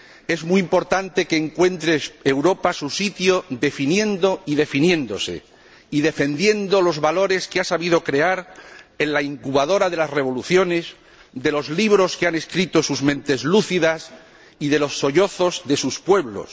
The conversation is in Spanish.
Es muy importante que Europa encuentre su sitio definiendo y definiéndose y defendiendo los valores que ha sabido crear en la incubadora de las revoluciones, en los libros que han escrito sus mentes lúcidas y en los sollozos de sus pueblos.